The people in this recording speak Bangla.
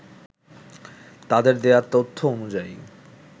তাদের দেয়া তথ্য অনুযায়ী